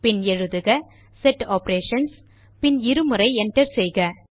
பின் எழுதுக set Operations பின் இருமுறை Enter செய்க